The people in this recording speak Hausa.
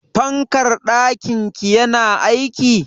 Fankar ɗakin ki yana aiki?